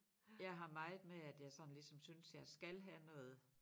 Jeg har meget med at jeg sådan ligesom synes jeg skal have noget